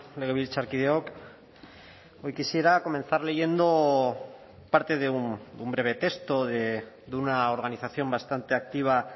legebiltzarkideok hoy quisiera comenzar leyendo parte de un breve texto de una organización bastante activa